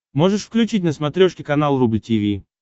можешь включить на смотрешке канал рубль ти ви